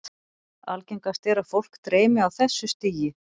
Algengast er að fólk dreymi á þessu stigi.